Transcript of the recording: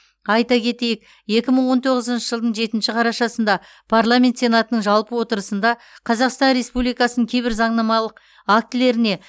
айта кетейік екі мың он тоғызыншы жылдың жетінші қарашасында парламент сенатының жалпы отырысында қазақстан республикасының кейбір заңнамалық актілеріне